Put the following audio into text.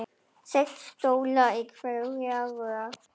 Sex stólar í hverri röð.